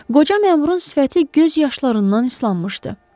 Qoca məmurun sifəti göz yaşlarından islanmışdı.